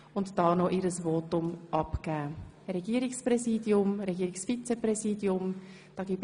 Einige Fraktionssprecher haben dies schon getan und sich zu Regierungspräsidium und -vizepräsidium geäussert.